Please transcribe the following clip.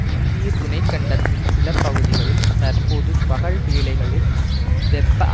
இந்திய துணை கண்டத்தின் சில பகுதிகளில் தற்போது பகல் வேளைகளில் வெப்ப